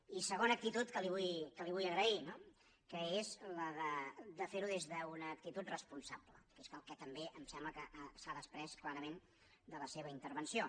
i segona actitud que li vull agrair no que és la de ferho des d’una actitud responsable que és el que també em sembla que s’ha desprès clarament de la seva intervenció